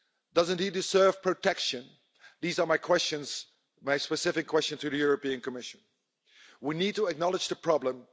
Doesn't he deserve protection? These are my specific questions to the European Commission. We need to acknowledge the problem.